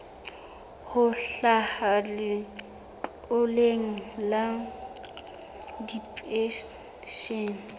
ho hlaha letloleng la dipenshene